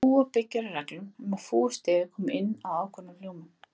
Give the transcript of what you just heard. Fúga byggir á reglum um að fúgustefið komi inn á ákveðnum hljómum.